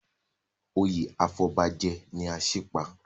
Oyè afọbajẹ ni Asípa.